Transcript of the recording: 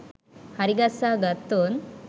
හරිගස්සා ගත්තොත්